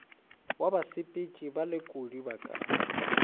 wa basepetši balekodi ba ka